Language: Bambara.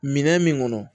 Minɛn min kɔnɔ